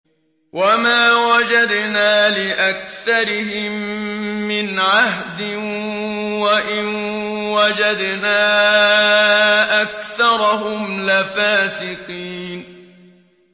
وَمَا وَجَدْنَا لِأَكْثَرِهِم مِّنْ عَهْدٍ ۖ وَإِن وَجَدْنَا أَكْثَرَهُمْ لَفَاسِقِينَ